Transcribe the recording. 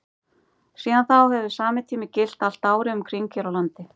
síðan þá hefur sami tími gilt allt árið um kring hér á landi